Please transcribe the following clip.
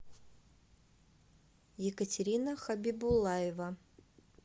екатерина хабибулаева